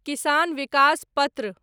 किसान विकास पत्र